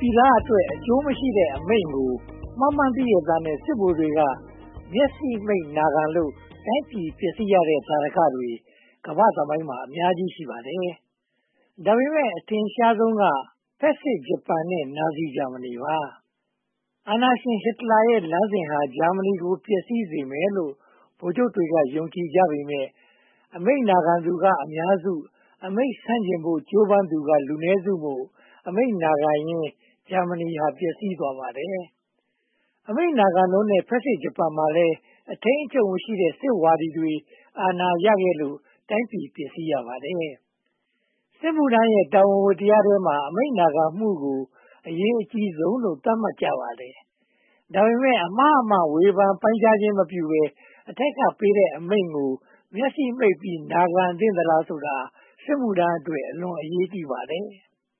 ပြည်သားအတွက် အကျိုးမရှိတဲ့အမိန့်ကို မှားမှန်းသိရက်နဲ့ စစ်ဗိုလ်တွေက မျက်စိမှိတ်နာခံလို့ တိုင်းပြည်ပျက်စီးရတဲ့သာဓကတွေ ကမ္ဘာ့သမိုင်းမှာ အများကြီး ရှိပါတယ်။ ဒါပေမဲ့ အထင်ရှားဆုံးကတော့ ဖက်ဆစ်ဂျပန်နဲ့ နာဇီဂျာမဏီပါ။ အာဏာရှင်ဟစ်တလာရဲ့ လမ်းစဉ်ဟာ ဂျာမဏီကို ပျက်စီးစေမယ်လို့ ဗိုလ်ချုပ်တွေက ယုံကြည်ကြပေမယ့် အမိန့်နာခံသူက အများစု အမိန့်ဆန့်ကျင်ဖို့ ကြိုးပမ်းသူက လူနည်းစုမို့ အမိန့်နာခံရင်း ဂျာမဏီဟာ ပျက်စီးသွားပါတယ်။ အမိန့်နာခံလွန်တဲ့ ဖက်ဆစ်ဂျပန်မှာလည်း အထိန်းအချုပ်မရှိတဲ့ စစ်ဝါဒီတွေ အာဏာရခဲ့လို့ တိုင်းပြည်ပျက်စီးရပါတယ်။ စစ်မှုထမ်းရဲ့ တာဝန်ဝတ္တရားထဲမှာ အမိန့်နာခံမှုကို အရေးအကြီးဆုံးလို့ သတ်မှတ်ကြပါတယ်။ ဒါပေမဲ့ အမှာအမှန် ဝေဖန်ပိုင်းခြားခြင်းမပြုဘဲ အထက်ကပေးတဲ့အမိန့်ကို မျက်စိမှိတ်ပြီး နာခံသင့်သလားဆိုတာဟာ စစ်မှုထမ်းအတွက် အလွန်အရေးကြီးပါတယ်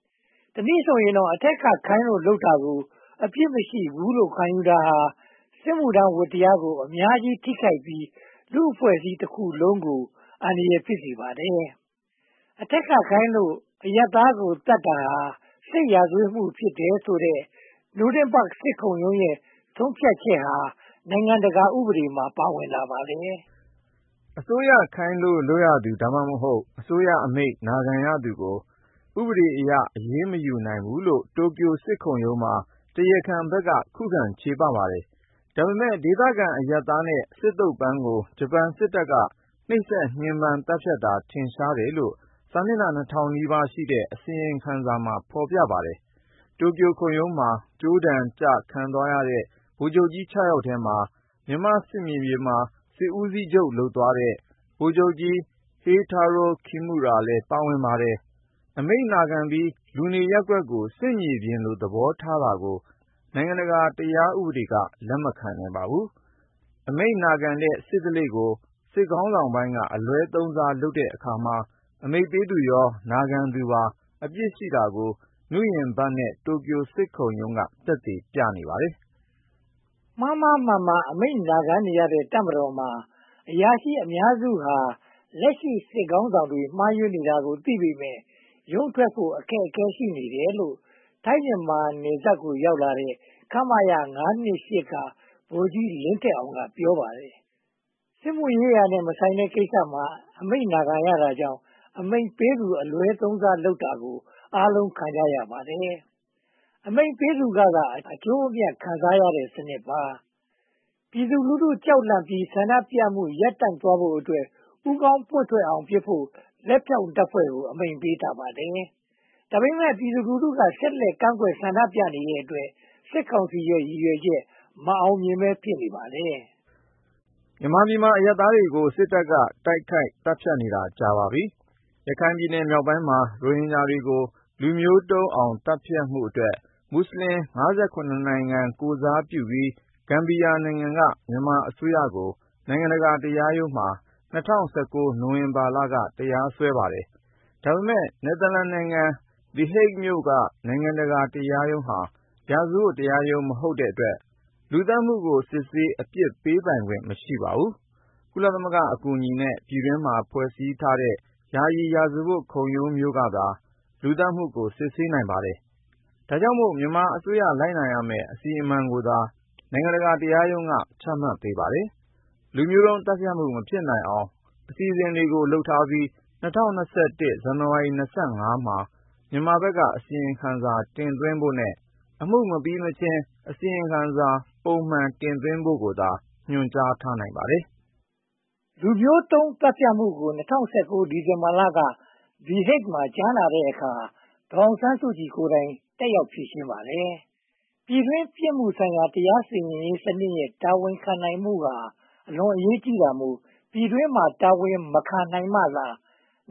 ။ တနည်းဆိုရရင်တော့ အထက်ကခိုင်းလို့လုပ်တာကို အပြစ်မရှိဘူးလို့ ခံယူတာဟာ စစ်မှုထမ်းဝတ္တရားကို အများကြီးထိခိုက်ပြီး လူ့အဖွဲ့အစည်းတခုလုံးကို အန္တရာယ်ဖြစ်စေပါတယ်။ အထက်ကခိုင်းလို့ အရပ်သားကိုသတ်တာဟာ စစ်ရာဇဝင်မှု ဖြစ်တယ်ဆိုတဲ့ နူးရင်းဘတ်စစ်ခုံရုံးရဲ့ ဆုံးဖြတ်ချက်ဟာ နိုင်ငံတကာဥ့ပဒေမှာ ပါဝင်လာပါတယ်။ အစိုးရခိုင်းလို့လုပ်ရသူ (သို့မဟုတ်) အစိုးရအမိန့်နာခံသူကို ဥပဒေအရ အရေးမယူနိုင်ဘူးလို့ တိုကျိုစစ်ခုံရုံးမှာ တရားခံဘက်က ခုခံချေပပါတယ်။ ဒါပေမဲ့ ဒေသခံအရပ်သားနဲ့ စစ်သုံးပန်းကို ဂျပန်စစ်တပ်က နှိပ်စက်ညှဉ်းပမ်းသတ်ဖြတ်တာ ထင်ရှားတယ်လို့ စာမျက်နှာ နှစ်ထောင်နီးပါးရှိတဲ့ စီရင်ချက်မှာ ဖော်ပြပါတယ်။ တိုကျိုခုံးရုံးမှာ ကြိုးဒဏ်ကျခံသွားရတဲ့ ဗိုလ်ချုပ်ကြီး (၆) ယောက်ထဲမှာ မြန်မာ့စစ်မြေပြင်မှာ စစ်ဦးစီးချုပ်လုပ်သွားတဲ့ ဗိုလ်ချုပ်ကြီးဟေတာရိုကိမူရာလည်း ပါဝင်ပါတယ်။ အမိန့်နာခံပြီး လူနေရပ်ကွက်ကို စစ်မြေပြင်လို သဘောထားတာကို နိုင်ငံတကာတရားဥပဒေက လက်မခံနိုင်ပါဘူး။ အမိန့်နာခံတဲ့ စစ်ဓလေ့ကို စစ်ခေါင်းဆောင်ပိုင်းက အလွဲသုံးစားလုပ်တဲ့အခါမှာ အမိန့်ပေးသူရော နာခံသူရော အပြစ်ရှိတာကို နူးရင်းဘတ်နဲ့ တိုကျိုစစ်ခုံရုံးတွေက သက်သေပြနေပါတယ်။ မှားမှားမှန်မှန် အမိန့်နာခံနေရတဲ့ တပ်မတော်မှာ အရာရှိအများစုဟာ လက်ရှိစစ်ခေါင်းဆောင်တွေ မှားယွင်းနေတာကိုသိပေမယ့် ရုန်းထွက်ဖို့ အခက်အခဲ ရှိနေတယ်လို့ ထိုင်း-မြန်မာနယ်စပ်ကို ရောက်လာတဲ့ ခမရ (၅၂၈) က ဗိုလ်ကြီးလင်းထက်အောင် က ပြောပါတယ်။ စစ်မှုရေးရာနဲ့ မဆိုင်တဲ့ကိစ္စမှာ အမိန့်နာခံရတာကြောင့် အမိန့်ပေးသူ အလွဲသုံးစားလုပ်တာကို အားလုံးခံကြရပါတယ်။ အမိန့်ပေးသူကသာ အကျိုးအမြတ်ခံစားရတဲ့စနစ်ပါ။ ပြည်သူလူထုကြောက်လန့်ပြီး ဆန္ဒပြမှု ရပ်တန့်သွားဖို့အတွက် ဦးခေါင်းပွင့်ထွက်အောင်ပစ်ဖို့ လက်ဖြောင့်တပ်ဖွဲ့ကို အမိန့်ပေးထားပါတယ်။ ဒါပေမဲ့ ပြည်သူလူထုက ဆက်လက်ကန့်ကွက်ဆန္ဒပြနေတဲ့အတွက် စစ်ကောင်စီရဲ့ ရည်ရွယ်ချက် မအောင်မြင်ဘဲ ဖြစ်နေရပါတယ်။ မြန်မာပြည်မှာ အရပ်သားတွေကို စစ်တပ်က တိုက်ခိုက်သတ်ဖြတ်နေတာ ကြာပါပြီ။ ရခိုင်ပြည်နယ်မြောက်ပိုင်းနေ ရိုဟင်ဂျာတွေကို လူမျိုးတုံးသတ်ဖြတ်မှုနဲ့ မူဆလင် (၅၇) နိုင်ငံကိုယ်စား ဂမ်ဘီယာနိုင်ငံက မြန်မာအစိုးရကို နိုင်ငံတကာတရားရုံးမှာ ၂၀၁၉ နိုဝင်ဘာလက တရားစွဲပါတယ်။ ဒါပေမဲ့ နယ်သာလန်နိုင်ငံ သည်ဟိတ်ဂ် (The Hague) မြို့က နိုင်ငံတကာတရားရုံးဟာ ရာဇဝတ်တရားရုံး မဟုတ်တဲ့အတွက် လူသတ်မှုကို စစ်ဆေးအပြစ်ပေးပိုင်ခွင့် မရှိပါဘူး။ ကုလသမဂ္ဂအကူအညီနဲ့ ပြည်တွင်းမှာ ဖွဲ့စည်းထားတဲ့ ယာယီရာဇဝတ်ခုရုံးမျိုးကသာ လူသတ်မှုကို စစ်ဆေးနိုင်ပါတယ်။ ဒါကြောင့်မို့ မြန်မာအစိုးရ လိုက်နာရမယ့် အစီအမံကိုသာ နိုင်ငံတကာတရားရုံးက ချမှတ်ပေးပါတယ်။ လူမျိုးတုံးသတ်ဖြတ်မှု မဖြစ်နိုင်အောင် အစီအစဉ်တွေလုပ်ပြီး ၂၀၂၁ ဇန်နဝါရီလ (၂၅) ရက်မှာ မြန်မာဘက်က အစီရင်ခံစာ တင်သွင်းဖို့နဲ့ အမှုမပြီးမချင်း အစီရင်ခံစာ ပုံမှန်တင်သွင်းဖို့သာ ညွှန်ကြားနိုင်ပါတယ်။ လူမျိုးတုံးသတ်ဖြတ်မှုကို ၂၀၁၉ ဒီဇင်ဘာလက သည်ဟိတ်ဂ်မှာ ကြားနာတဲ့အခါ၊ ဒေါ်အောင်ဆန်းစုကြည်ကိုယ်တိုင် တက်ရောက်ဖြေရှင်းပါတယ်။ ပြည်တွင်းပြစ်မှုဆိုင်ရာ တရားစီရင်ရေးစနစ်ရဲ့ တာဝန်ခံနိုင်မှုဟာ အလွန်အရေးကြီးတာမို့ ပြည်တွင်းမှာ တာဝန်မခံနိုင်မှသာ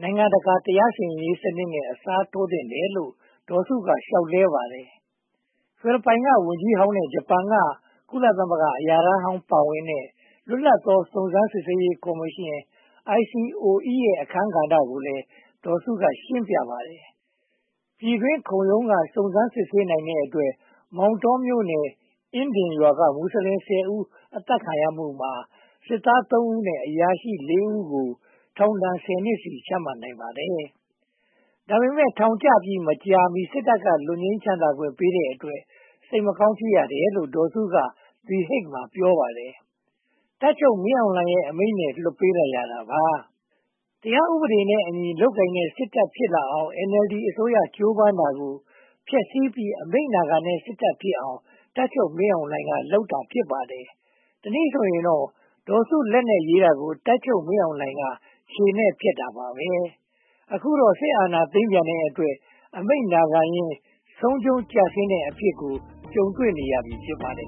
နိုင်ငံတကာ တရားစီရင်ရေးစနစ်နဲ့ အစားထိုးသင့်တယ်လို့ ဒေါ်စုက လျှောက်လဲပါတယ်။ ဖိလစ်ပိုင်းဝန်ကြီးဟောင်းနဲ့ ဂျပန်က ကုလသမဂ္ဂအရာထမ်းဟောင်း ပါဝင်တဲ့ လွတ်လပ်သော စုံစမ်းစစ်ဆေးရေးကော်မရှင် ICOE ရဲ့ အခန်းကဏ္ဍကိုလည်း ဒေါ်စုက ရှင်းပြပါတယ်။ ပြည်တွင်းခုံရုံးက စုံစမ်းစစ်ဆေးနိုင်တဲ့အတွက် မောင်တောမြို့နယ်၊ အင်းဒင်ရွာက မူစလင် (၁၀) ဦး အသတ်ခံရမှုမှာ စစ်သား (၃) ဦးနဲ့ အရာရှိ (၄) ဦးကို ထောင်ဒဏ် (၁၀) နှစ်စီ ချမှတ်နိုင်ပါတယ်။ ဒါပေမဲ့ ထောင်ကျပြီးမကြာမီ စစ်တပ်က လွတ်ငြိမ်းချမ်းသာခွင့်ပေးတဲ့အတွက် စိတ်မကောင်း ဖြစ်ရတယ်လို့ ဒေါ်စုက သည်ဟိတ်ဂ် မှာ ပြောပါတယ်။ တပ်ချုပ်မင်းအောင်လှိုင်ရဲ့ အမိန့်နဲ့ လွှတ်ပေးလိုက်ရတာပါ။ တရားဥပဒေနဲ့အညီ လုပ်ကိုင်တဲ့ စစ်တပ်ဖြစ်လာအောင် NLD အစိုးရ ကြိုးပမ်းတာကို ဖျက်ဆီးပြီး အမိန့်နာခံတဲ့ စစ်တပ်ဖြစ်အောင် တပ်ချုပ်မင်းအောင်လှိုင်က လုပ်တာ ဖြစ်ပါတယ်။ တနည်းဆိုရင်တော့ ဒေါ်စုလက်နဲ့ရေးတာကို တပ်ချုပ်မင်းအောင်လှိုင်က ခြေနဲ့ဖျက်တာပါပဲ။ အခုတော့ စစ်အာဏာသိမ်းပြန်တဲ့အတွက် အမိန့်နာခံရင်း ဆုံးရှုံးကျဆင်းတဲ့အဖြစ်ကို ကြုံတွေ့နေရပြီ ဖြစ်ပါတယ်